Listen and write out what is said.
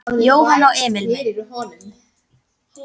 Jóhann og Emil inn?